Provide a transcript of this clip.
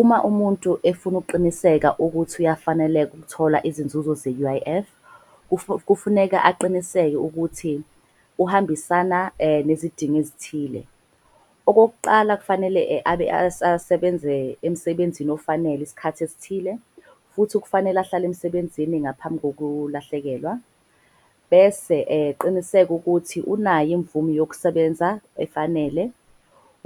Uma umuntu efuna ukuqiniseka ukuthi uyafaneleka ukuthola izinzuzo ze-U_I_F . Kufuneka aqiniseke ukuthi uhambisana nezidingo ezithile. Okokuqala, kufanele abe asebenze emsebenzini ofanele iskhathi esithile. Futhi kufanele ahlale emsebenzini ngaphambi kokulahlekelwa, bese eqinisela ukuthi unayo imvume yokusebenza efanele.